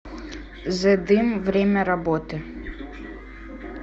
зе дым время работы